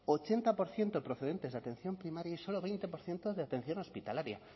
ochenta por ciento procedentes de atención primaria y solo veinte por ciento de atención hospitalaria